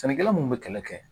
Sɛnɛkɛla mun bɛ kɛlɛ kɛ